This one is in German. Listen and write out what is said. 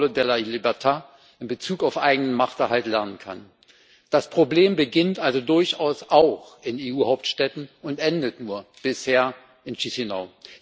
Popolo della Libertà in Bezug auf eigenen Machterhalt lernen kann. Das Problem beginnt also durchaus auch in EU Hauptstädten und endet nur bisher in Chişinău.